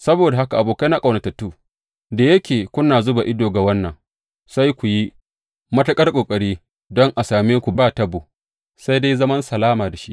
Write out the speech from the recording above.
Saboda haka, abokaina ƙaunatattu, da yake kuna zuba ido ga wannan, sai ku yi matuƙar ƙoƙari don a same ku ba tabo, sai dai zaman salama da shi.